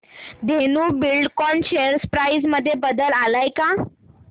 Dhenu Buildcon share price मध्ये बदल आलाय का